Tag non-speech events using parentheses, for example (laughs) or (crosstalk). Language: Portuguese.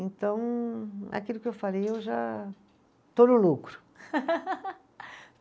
Então, aquilo que eu falei, eu já estou no lucro. (laughs)